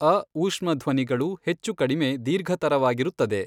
ಅ ಊಷ್ಮಧ್ವನಿಗಳು ಹೆಚ್ಚು ಕಡಿಮೆ ದೀರ್ಘತರವಾಗಿರುತ್ತದೆ.